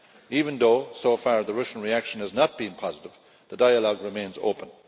Even though, so far, the Russian reaction has not been positive, the dialogue remains open.